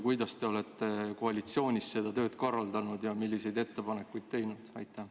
Kuidas te olete koalitsioonis seda tööd korraldanud ja milliseid ettepanekuid teinud?